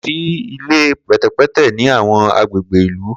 Ko si ile pẹtẹpẹtẹ ni awọn agbegbe ilu